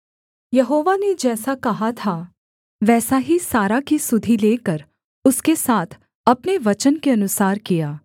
यहोवा ने जैसा कहा था वैसा ही सारा की सुधि लेकर उसके साथ अपने वचन के अनुसार किया